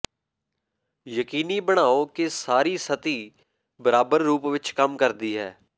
ਯਕੀਨੀ ਬਣਾਓ ਕਿ ਸਾਰੀ ਸਤਹੀ ਬਰਾਬਰ ਰੂਪ ਵਿੱਚ ਕੰਮ ਕਰਦੀ ਹੈ